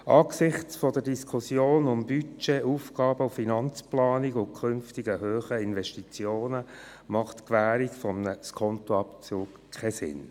Angesichts der Diskussionen um Budget, Aufgaben- und Finanzplanung und künftig hohe Investitionen macht die Gewährung eines Skontoabzugs keinen Sinn.